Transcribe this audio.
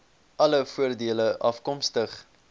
alle voordele afkomstig